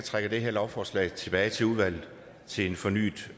have det her lovforslag tilbage i udvalget til en fornyet